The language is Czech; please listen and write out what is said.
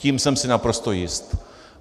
Tím jsem si naprosto jist.